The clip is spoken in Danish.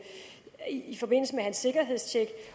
han se